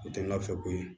O tɛ n ka fɛko ye